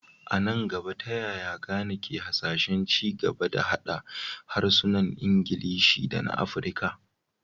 A nan gaba, ta yaya Ghana ke hasashen ci gaba da haɗa harsunan Ingilishi da na Afirka?